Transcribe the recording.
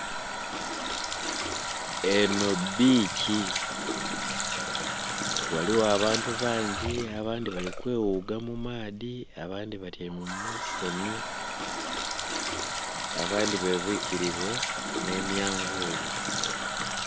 Enho biikyi ghaligho abantu bangi abandhi bali kweghuga mu maadhi abandhi batyaime mu musenhu abandhi be bwikirile nhe manvuli.